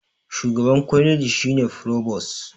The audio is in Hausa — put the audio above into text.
shugaban kwaliji shi ne frobos